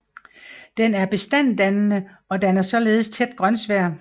Den er bestanddannende og danner således tæt grønsvær